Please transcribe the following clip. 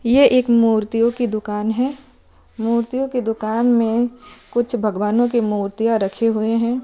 ये एक मूर्तियों कि दुकान है मूर्तियों के दुकान में कुछ भगवानो कि मुर्तिया रखी हुई है।